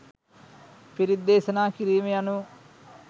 පිරිත් දේශනා කිරීම යනු